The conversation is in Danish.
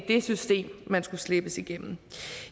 det system man skulle slæbes igennem